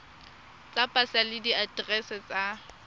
tsa pasa le diaterese tsa